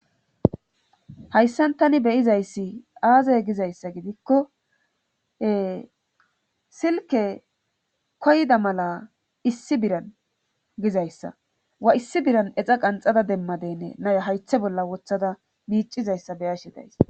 hayssan tani beyizayssi aaze gizayssa gidikkoe silke koyda mala issi biran gizayssa wa issi biran exa qanxada demmadenne nay haythe bolla wothada miicizayssa be'ashe days